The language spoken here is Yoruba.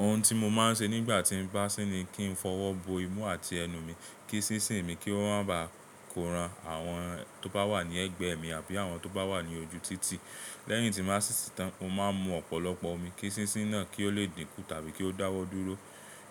Ohun tí mo máa ń ṣe nígbà tí mo bá sí ni kí n fọwọ́ bo imú àti ẹnu mi, kí sísín mi kí ó má ba kó ran àwọn tó bá wà ní ẹ̀gbẹ́ mi àbí àwọn tó bá wà ní ojú títì. Lẹ́yìn tí mo bá sìsì tán, mo máa ń mu ọ̀pọ̀lọpọ̀ omi kí sísín náà kí ó lè dínkù tàbí kí ó dáwọ́ dúró.